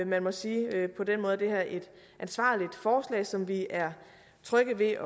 man må sige at på den måde er det her et ansvarligt forslag som vi er trygge ved